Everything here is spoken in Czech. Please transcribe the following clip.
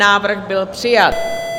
Návrh byl přijat.